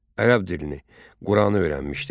Ərəb dilini, Quranı öyrənmişdi.